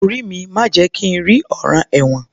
Orí mi má jẹ̀ kí n rí ọ̀ràn ẹ̀wọ̀n